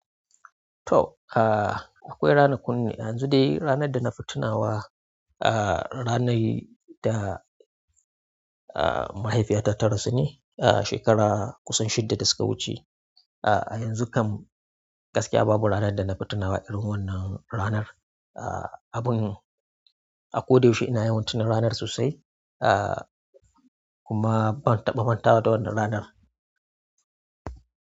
To, ka-akwai ranakun ne, yanzu dai ranar da na fitina wa, a-a ranar da mahaifiyata ta rasu ne, a shekara kusan shidda da suka wuce. A yanzu kam gaskiya babu ranar da na fitina wa irin wannan ranar. Abin a ko da yaushe ina yawan tuna ranar sosai, a kuma ban taɓa manta da wannan ranar.